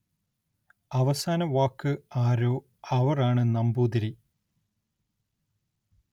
അവസാന വാക്ക് ആരോ അവര്‍ ആണ് നമ്പൂതിരി